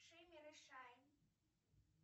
шиммер и шайн